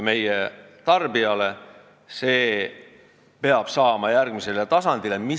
See tuleb järgmisele tasandile saada.